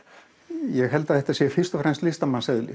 ég held að þetta sé fyrst og fremst